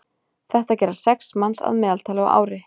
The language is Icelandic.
Þetta gera sex manns að meðaltali á ári.